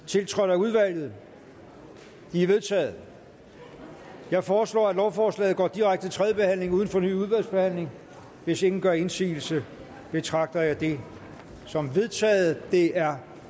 tiltrådt af udvalget de er vedtaget jeg foreslår at lovforslaget går direkte til tredje behandling uden fornyet udvalgsbehandling hvis ingen gør indsigelse betragter jeg det som vedtaget det er